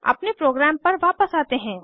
अपने प्रोग्राम पर वापस आते हैं